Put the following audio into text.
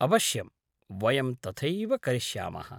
अवश्यं, वयं तथैव करिष्यामः।